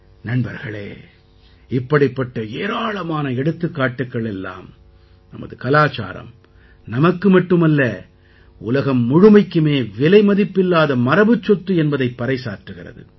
நண்பர்களே இப்படிப்பட்ட ஏராளமான எடுத்துக்காட்டுக்கள் எல்லாம் நமது கலாச்சாரம் நமக்கு மட்டுமல்ல உலகம் முழுமைக்குமே விலைமதிப்பில்லாத மரபுச் சொத்து என்பதைப் பறைசாற்றுகிறது